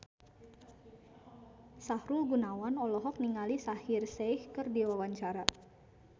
Sahrul Gunawan olohok ningali Shaheer Sheikh keur diwawancara